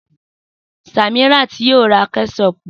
Samiat yóò ra Kẹ́ṣọpù